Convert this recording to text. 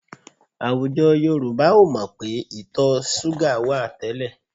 Àwùjọ Yorùbá ò mọ̀ pé ìtọ̀ súgà wà tẹ́lẹ̀